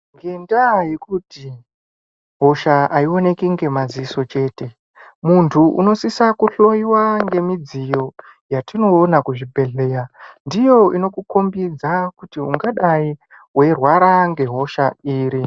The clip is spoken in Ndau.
Ngendaa yekuti, hosha aionekwi ngemadziso chete, munthu unosisa kuhloiwa ngemidziyo ,yatinoona kuzvibhedhleya. Ndiyo inokukombidza kuti, ungadai weirwara ngehosha iri.